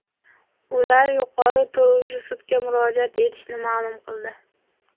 Ular yuqori turuvchi sudga murojaat etishini ma’lum qildi.